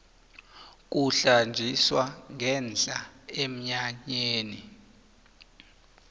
kuhlanjiswa ngenhla emnyanyeni